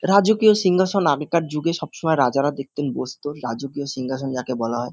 রাজকীয় সিঙ্ঘাসন আগে কার যুগে সবসময় রাজারা দেখতেন বসত রাজকীয় সিঙ্গাসন যাকে বলা হয়।